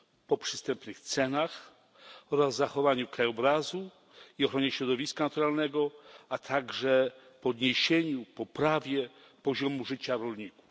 po przystępnych cenach oraz zachowaniu krajobrazu i ochronie środowiska naturalnego, a także podniesieniu, poprawie poziomu życia rolników.